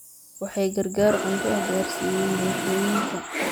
Waxay gargaar cunto ah gaarsiiyeen bulshooyinka.